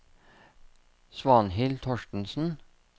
Svanhild Thorstensen